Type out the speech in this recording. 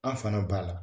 An fana b'a la